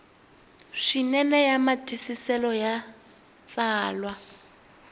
swinene ya matwisiselo ya tsalwa